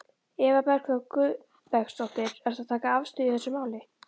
Eva Bergþóra Guðbergsdóttir: Ertu að taka afstöðu í þessu máli?